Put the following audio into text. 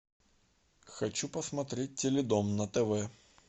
хочу посмотреть теледом на тв